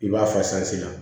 I b'a fasaa